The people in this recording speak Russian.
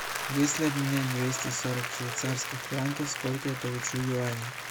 если обменять двести сорок швейцарских франков сколько я получу юаней